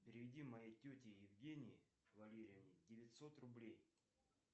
переведи моей тете евгении валерьевне девятьсот рублей